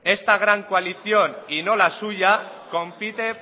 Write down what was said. esta gran coalición y no la suya compite